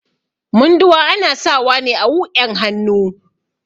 Munduwa ana sawa ne a wuƴan hannu.